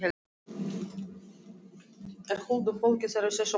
En huldufólkið er í þessum hól!